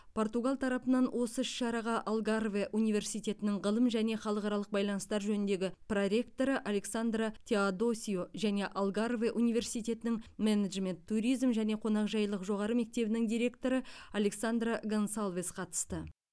португал тарапынан осы іс шараға алгарве университетінің ғылым және халықаралық байланыстар жөніндегі проректоры александра теодосио және алгарве университетінің менеджмент туризм және қонақжайлық жоғары мектебінің директоры александра гонсалвес қатысты